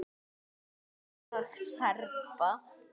FRAMLAG SERBA